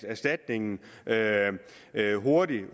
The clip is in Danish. erstatningen hurtigt